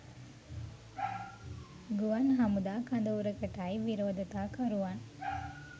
ගුවන් හමුදා කඳවුරකටයි විරෝධතා කරුවන්